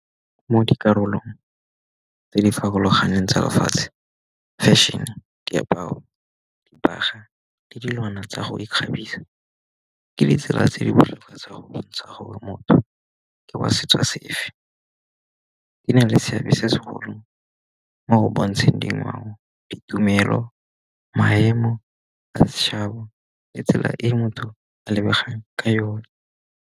Mo dikarolong tse di farologaneng tsa lefatshe fešhene, diaparo, dibagwa le dilwana tsa go ikgabisa. Ke ditsela tse di botlhokwa tsa go bontsha gore motho ke wa setso sefe. Di na le seabe se segolo mo go bontsheng dingwao, ditumelo, maemo, le tsela e motho a lebegang ka yone.